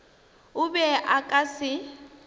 o be a ka se